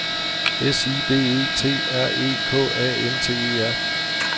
S I D E T R E K A N T E R